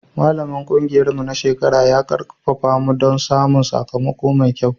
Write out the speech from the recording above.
Malamin ƙungiyarmu na shekara ya ƙarfafa mu don samun sakamako mai kyau.